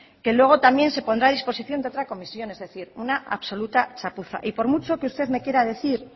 que luego también se pondrá a disposición de otra comisión es decir una absoluta chapuza y por mucho que usted me quiera decir